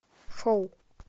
шоу